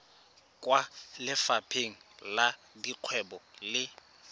kwa lefapheng la dikgwebo le